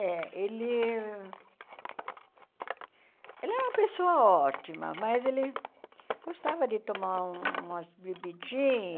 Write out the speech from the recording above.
É, ele... Ele era uma pessoa ótima, mas ele gostava de tomar umas bebidinhas.